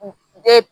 de